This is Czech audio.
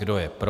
Kdo je pro?